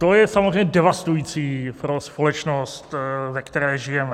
To je samozřejmě devastující pro společnost, ve které žijeme.